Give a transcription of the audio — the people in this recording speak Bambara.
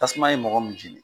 Tasuma ye mɔgɔ mun jeni.